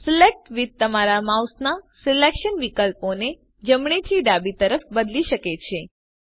select withતમારા માઉસના selection વિકલ્પોને જમણે થી ડાબી તરફ બદલી શકે છે